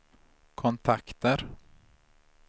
kontakter